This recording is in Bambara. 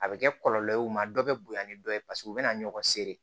A bɛ kɛ kɔlɔlɔ ye u ma dɔ bɛ bonya ni dɔ ye paseke u bɛ na ɲɔgɔn sere